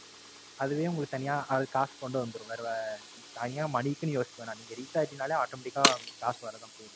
அதுவே உங்களுக்கு தனியா அது காசு கொண்டு வந்துரும். வேற தனியா Money க்குன்னு யோசிக்க வேண்டாம் நீங்க Reach ஆயிடினாலே automatic அ காசு வரதான் போது